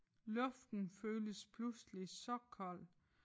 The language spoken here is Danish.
Luften føles pludselig så kold